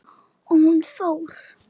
Og hún fór.